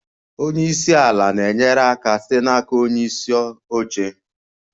Onye isi ala na-enyere aka site n'aka onye isi oche.